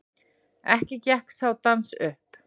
Ekki gekk sá dans upp.